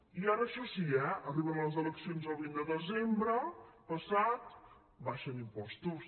i ara això sí eh arriben les eleccions el vint de desembre passat abaixen impostos